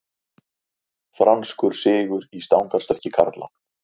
Franskur sigur í stangarstökki karla